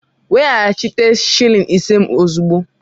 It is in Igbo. Weghachite shịlịn isé m ozugbo!